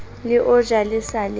le ojwa le sa le